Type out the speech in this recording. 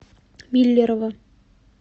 миллерово